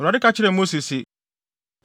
Awurade ka kyerɛɛ Mose se: